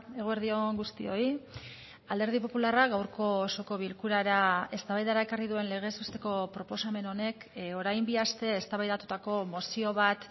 eguerdi on guztioi alderdi popularra gaurko osoko bilkurara eztabaidara ekarri duen legez besteko proposamen honek orain bi aste eztabaidatutako mozio bat